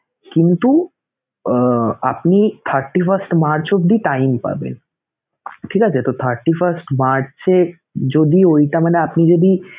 কিন্তু আপনি thirty first March অবধি time পাবেন ঠিক আছে! তো thirty first মার্চে যদিও ওইটা মানে আপনি যদি